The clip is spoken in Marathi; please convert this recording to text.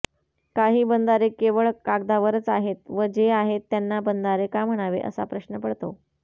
काही बंधारे केवळ कागदावरच आहेत व जे आहेत त्यांना बंधारे का म्हणावे असा प्रश्न पडतो